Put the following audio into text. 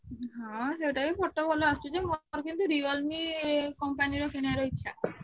ହଁ ସେଇଟାବି photo ବି ଭଲ ଆସୁଛି ଯେ ମୋର କିନ୍ତୁ Realme company ର କିଣିବା ର ଇଛା।